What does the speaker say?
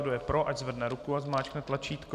Kdo je pro, ať zvedne ruku a zmáčkne tlačítko.